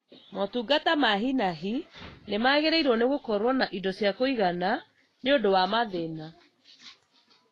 Motungata ma hi na hi nĩmagĩrĩirwo nĩ gũkorwo na indo cia kũigana nĩũndu wa mathina